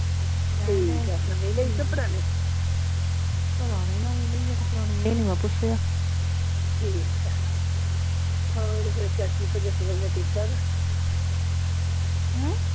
ਠੀਕ ਆ ਨਵੀਂ ਲਈ ਕੇ ਪੁਰਾਣੀ ਪਤਾ ਨਹੀਂ ਨਵੀਂ ਲਈ ਆ ਕੇ ਪੁਰਾਣੀ ਇਹ ਨਹੀਂ ਮੈਂ ਪੁੱਛਿਆ ਠੀਕ ਆ ਹਾਂ ਤੇ ਫੇਰ ਚਾਚੀ ਠੀਕ ਆ ਹਮ